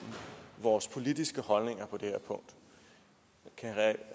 vores politiske holdninger på det her punkt kan